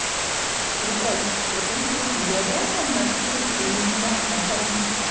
виталь вот интересно я реально настолько невнятно пою